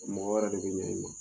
Mɔgɔ wɛrɛ de bɛ ɲa i ma.